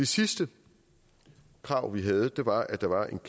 sidste krav vi havde var at der var et